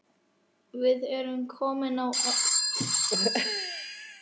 Við erum komin á eftir.